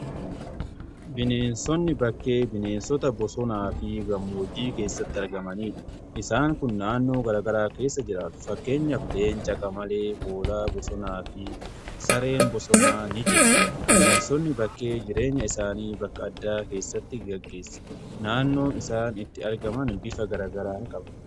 Bineensonni bakkee bineensota bosonaa fi gammoojjii keessatti argamanidha. Isaan kun naannoo gara garaa keessa jiraatu. Fakkeenyaaf leenca, qamalee, hoolaa bosonaa fi sareen bosonaa ni jiru. Bineensonni bakkee jireenya isaanii bakka addaa keessatti gaggeessa. Naannoo isaan itti argaman bifa garagaraa qaba.